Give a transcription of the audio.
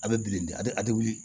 A bɛ bilen a bɛ a tɛ wuli